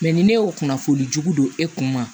ni ne y'o kunnafoni jugu don e kun ma